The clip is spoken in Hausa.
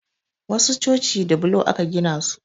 Wasu coci da bulo aka gina su